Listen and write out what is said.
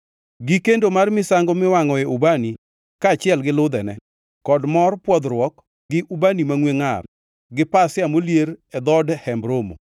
gi kendo mar misango miwangʼoe ubani, kaachiel gi ludhene, kod mor pwodhruok gi ubani mangʼwe ngʼar, gi pasia molier e dhood Hemb Romo,